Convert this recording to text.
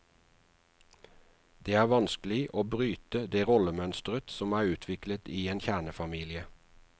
Det er vanskelig å bryte det rollemønstret som er utviklet i en kjernefamilie.